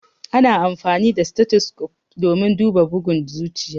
Ana amfani da stethoscope domin duba bugun zuciya.